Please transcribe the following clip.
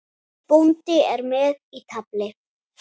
Bóndi er með í tafli.